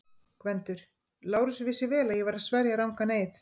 GVENDUR: Lárus vissi vel að ég var að sverja rangan eið.